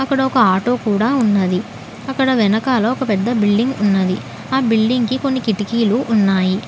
అక్కడ ఒక ఆటో కూడా ఉన్నది. అక్కడ వెనకాల ఒక పెద్ద బిల్డింగ్ ఉన్నది. ఆ బిల్డింగ్ కి కొన్ని కిటికీలు ఉన్నాయి.